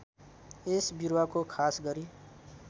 यस बिरुवाको खासगरी